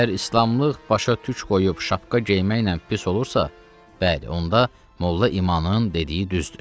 Əgər islamlıq başa türk qoyub şapka geyinməklə pis olursa, bəli, onda molla İmanın dediyi düzdür.